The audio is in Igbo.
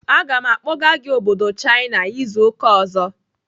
Aga m akpọga gị obodo China izu ụka ọzọ!